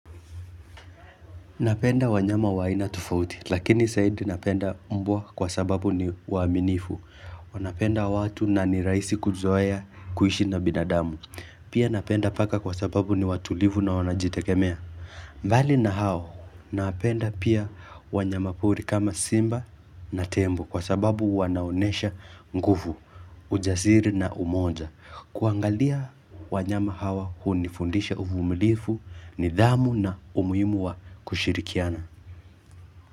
Napenda wanyama wa aina tufauti, lakini saidi napenda mbwa kwa sababu ni waminifu. Wanapenda watu na ni raisi kuzoea kuishi na binadamu. Pia napenda paka kwa sababu ni watulivu na wanajitekemea. Mbali na hao, napenda pia wanyama pori kama simba na tembo kwa sababu wanaonesha nguvu, ujasiri na umoja. Kuangalia wanyama hawa hunifundisha uvumilifu nidhamu na umuimu wa kushirikiana.